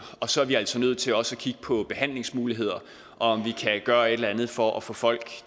og så er vi altså nødt til også at kigge på behandlingsmuligheder og om vi kan gøre et eller andet for at få folk